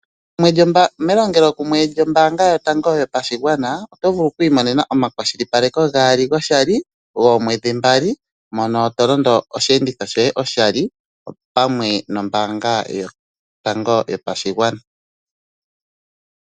Melongelokumwe lyombanga yotango yopashigwana oto vulu okwiimonena omakwashilipaleko gaali goshali goomwedhi mbali mono to londo osheenditho shoye oshali opamwe nombaanga yotango yopashigwana.